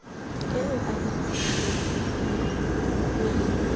eo o e kopileng o